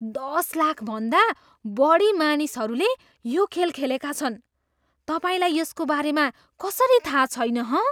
दस लाखभन्दा बढी मानिसहरूले यो खेल खेलेका छन्। तपाईँलाई यसको बारेमा कसरी थाहा छैन हँ?